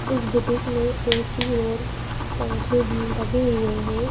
इस बुटीक में A_ C_ और पंखे भी लगे हुए हैं।